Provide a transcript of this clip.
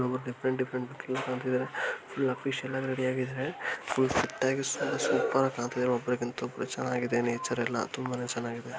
ಇಲ್ಲೊಬ್ರು different different look ಅಲ್ಲಿ ಕಾಣ್ತಾ ಇದಾರೆ ಫುಲ್ ಅಫೀಷಿಯಲ್ ಆಗಿ ರೆಡಿ ಆಗಿದಾರೆ. ಫುಲ್ ಫಿಟ್ ಆಗಿ ಸೂಪರ್ ಆಗಿ ಕಾಣ್ತಾ ಇದಾರೆ ಒಬ್ಬರಕಿಂತ ಒಬ್ಬರು. ಚೆನ್ನಾಗಿದೆ ನೇಚರ್ ಎಲ್ಲ ತುಂಬಾನೇ ಚೆನ್ನಾಗಿದೆ.